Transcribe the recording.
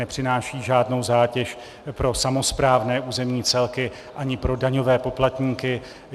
Nepřináší žádnou zátěž pro samosprávné územní celky ani pro daňové poplatníky.